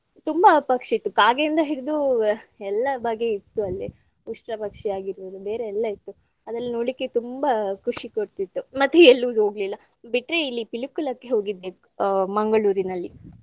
ತುಂಬಾ ಪಕ್ಷಿ ಇತ್ತು ಕಾಗೆಯಿಂದ ಹಿಡಿದು ಎಲ್ಲಾ ಬಗೆ ಇತ್ತು ಅಲ್ಲೇ ಉಷ್ಟ್ರಪಕ್ಷಿ ಆಗಿರ್ಬಹುದು ಬೇರೆ ಎಲ್ಲ ಇತ್ತು ಅದೆಲ್ಲ ನೋಡ್ಲಿಕ್ಕೆ ತುಂಬಾ ಖುಷಿ ಕೊಡ್ತಿತ್ತು ಮತ್ತೆ ಎಲ್ಲು ಹೋಗ್ಲಿಲ್ಲಾ. ಬಿಟ್ರೆ ಇಲ್ಲಿ ಪಿಲಿಕುಳಕ್ಕೆ ಹೋಗಿದ್ದೆ ಆ ಮಂಗಳೂರಿನಲ್ಲಿ.